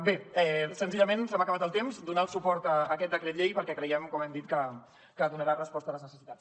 bé senzillament se m’ha acabat el temps donar el suport a aquest decret llei perquè creiem com hem dit que donarà resposta a les necessitats